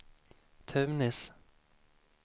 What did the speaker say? Tunis